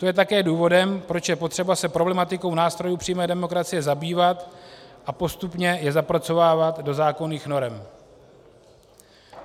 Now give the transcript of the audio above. To je také důvodem, proč je potřeba se problematikou nástrojů přímé demokracie zabývat a postupně je zapracovávat do zákonných norem.